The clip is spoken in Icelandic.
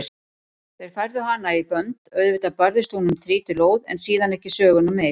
Þeir færðu hana í bönd, auðvitað barðist hún um trítilóð en síðan ekki söguna meir.